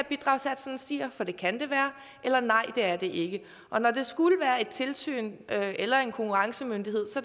bidragssatsen stiger for det kan det være eller nej det er det ikke og når det skulle være et tilsyn eller en konkurrencemyndighed